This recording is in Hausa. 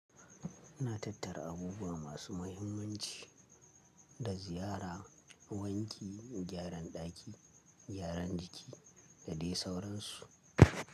Ina tattara abubuwa masu muhimmanci da ziyara, wanki, gyaran ɗaki, gyaran jiki da dai sauransu.